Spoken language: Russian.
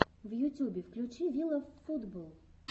в ютюбе включи вилавфутболл